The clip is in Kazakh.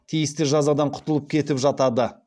тиісті жазадан құтылып кетіп жатады